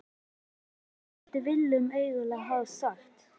En hvað skildi Willum eiginlega hafa sagt?